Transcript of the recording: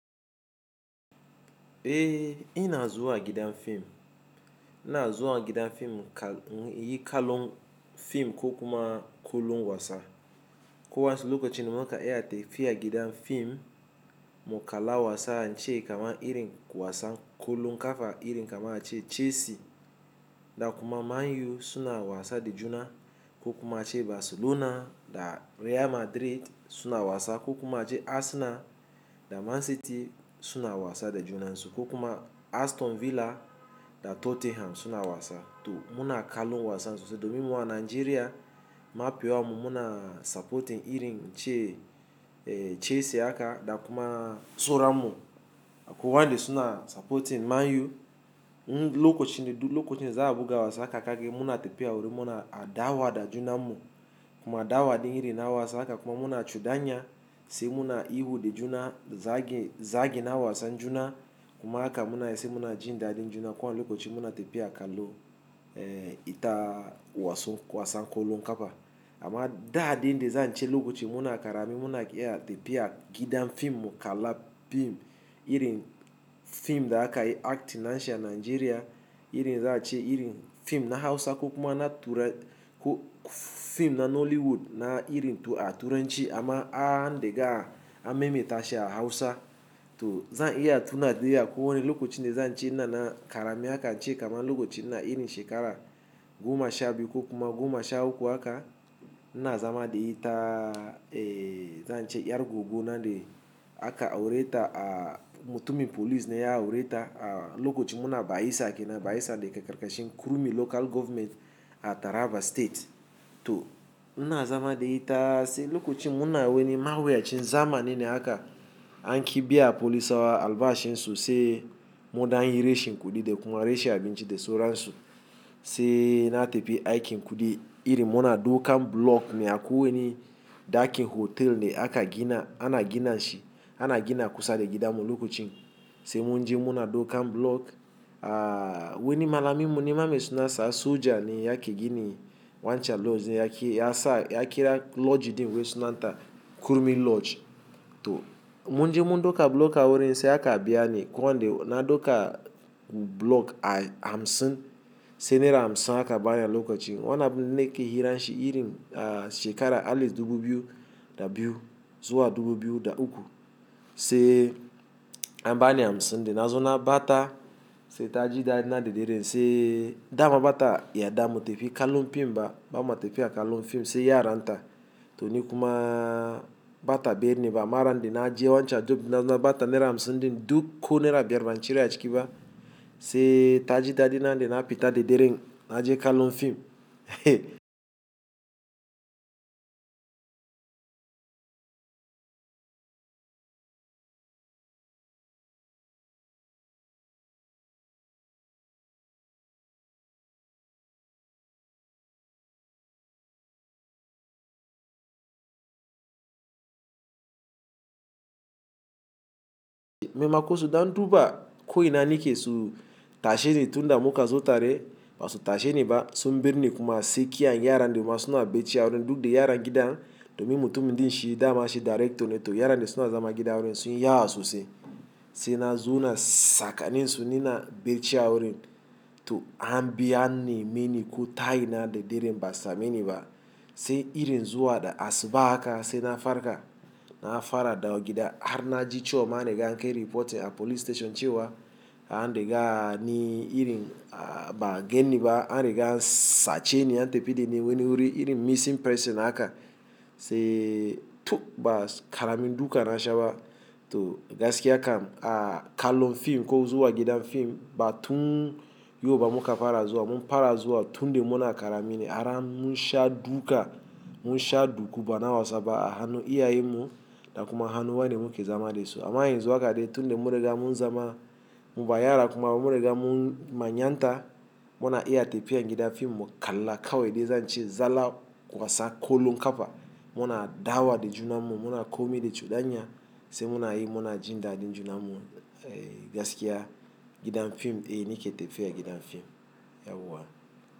Eh, ina zuwa gidan fim. Ina zuwa gidan fim ka, in yi kallo fim ko kuma kollom wasa. Ko wasa lokacin da muka iya tefi a gidan fim mu kala wasa wancan kamar irin wasan kollom kafa, irin kamar ace Chelsea da kuma Man U suna wasa da juna ko kuma ace Barcelona da Real Madrid suna wasa ko kuma ace Arsenal da Man City suna wasa da juna, ko kuma Aston Villa da Tottenham suna wasa. To muna kallon wasan sosai domin mawa Najeriya mafiya mu muna supporting irin ce, eh Chelsea haka da kuma Sauramu. Akwai wanda suna supporting Man U. Lokacin da, lokacin za a buga wasa haka kake muna tafiya wurin muna adawa da juna mu kuma adawa da irin na wasa haka kuma muna cuɗanya sai muna yi huda juna. Zage, zage na wasan juna kuma haka muna yi sai muna jin dadin juna. Ko an lokacin muna tafiya kallo, eh ita wasan kollom kafa. Amma da din da zan ce lokacin muna karami muna iya tafiya gidan fim mu kala fim irin fim da aka yi Actin nashi Nigeria, irin za a ce irin fim na Hausa ko kuma na tura ko fim na Nollywood na irin to a tura ci amma an dega a memaita shi a Hausa. To zan iya tuna da yake ko wani lokacin da zan ce ina na karami haka zan ce kamar lokacin na irin shekara goma sha biyu ko kuma goma sha uku haka, ina zama da ita, eh zan ce yar goggo nan da aka aure ta a mutumin police ne ya aure ta. Lokacin muna Bayisa ke, na Bayisa da ke karkashin Kurmi Local Government a Taraba State. To ina zama da ita sai lokacin muna wani mawuya cin zama ne haka an kibiya police ɗin albashi nsu sai mun dangin reshen kuɗi da kuma reshe abinci da sauransu. Sai na tafi aikin kuɗi irin muna daukan block ne akwai wani dakin hotel ne aka gina, ana gina shi, ana gina kusa da gidan mu lokacin. Sai mun je muna daukan block, a wani malamimi mun yi mamaye suna sa soja ne yake gini wancan lodge ne yake, ya sa yake kira lodge din wai suna ta Kurmi Lodge. To mun je mun dauka block a wurin sai aka biya ne ko wande na dauka block ai hamsin. Sai naira hamsin aka bayar lokacin. Wannan ne ke hirar shi irin a shekara Alif dubu biyu da biyu zuwa dubu biyu da uku. Sai an bani hamsin din na zo na bata sai ta ji dadi na da dare sai dama bata yadda ma tafiya kallon fim ba. Bama tafiya kallon fim sai ya aranta. To ni kuma bata biya ni ba amma ran da na je wancan dub, na bata naira hamsin din duk ko naira biyar Najeriya cika ba sai ta ji dadi nan da na fita da dare na je kallon fim. Me makosa dan duba ko ina nake su tashe ni tun da muka zo tare ba su tashe ni ba. Sun birne kuma sai ki yaran dama suna becci a wurin duk da yaran gidan domin mutumin din shi dama shi director ne. To yaran da suna zama gidan wurin sun yi yausu sai, sai na zo na saka ninsu ni na berci a wurin. To an biya ni mini ko tayi na da dare ba sa mini ba. Sai irin zuwa da asuba haka sai na farka na fara dawo gida har na ji ciwo ma na ga an kai reporting a police station cewa an riga ni irin ba gan ni ba an riga sace ni an tafi da ni wani wuri irin missing person haka. Sai tok ba karamin duka na sha ba to gaskiya kam a kallon fim ko zuwa gidan fim ba tun yau ba muka fara zuwa. Mun fara zuwa tun da muna karami ne har mun sha duka, mun sha duku ba na wasaba a hannu iya yin mu da kuma hannu wane muke zama da su. Amma yanzu haka dai tun da muringa mun zama muba yara kuma muring mun manyanta muna iya tafiya gidan fim mu kala kawai dai zan ce zalla wasa kollom kafa. Muna dawa da juna mu muna komai da cudanya sai muna yi muna jin dadin juna mu, eh gaskiya gidan fim eh nake tafiya gidan fim, yauwa.